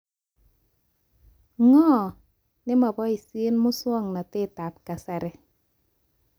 Ngo? Neboishe muswokntetab kasari